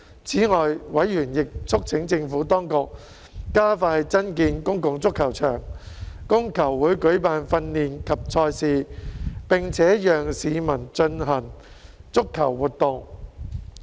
此外，委員亦促請政府當局加快增建公共足球場，供球會舉辦訓練及賽事，並且讓市民進行足球活動。